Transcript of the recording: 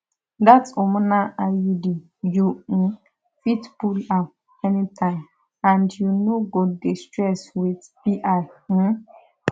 that hormonal iud you um fit pull am anytime and you no go dey stress with pi um